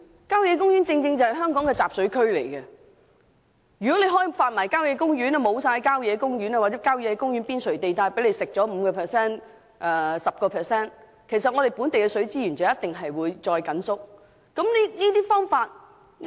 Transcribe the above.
郊野公園正是香港的集水區，如要開發所有郊野公園及其邊陲 5% 至 10% 土地，本地水資源一定會進一步收縮。